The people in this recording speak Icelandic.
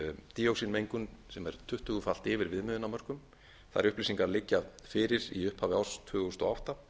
díoxínmengun sem er tuttugu falið yfir viðmiðunarmörkum þær upplýsingar liggja fyrir í upphafi árs tvö þúsund og átta